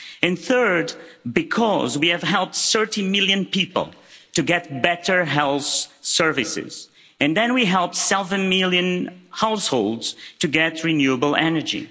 And third, because we have helped 30 million people to get better health services, and then we helped seven million households to get renewable energy.